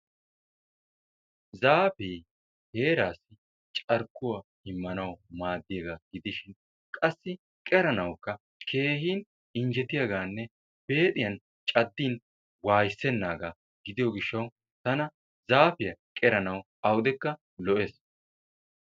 Zaafee heeraassi carkkuwa immanawu maaddiyagaa gidishin qassi qeranawukka keehin injjetiyagaanne beexiyan caddin wayssennaagaa gidiyo gish8tana zaafiya qeranawu awudekka lo'ees.